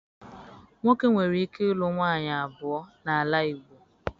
Nwoke nwere ike ịlụ nwaanyị abụọ n'ala Igbo.